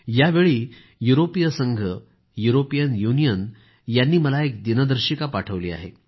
यावेळी युरोपीय संघ युरोपियन युनियन यांनी मला एक दिनदर्शिका पाठवली आहे